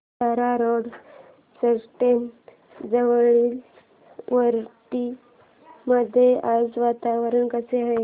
Bhandara road station जवळील वरठी मध्ये आज वातावरण कसे आहे